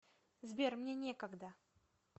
сбер мне некогда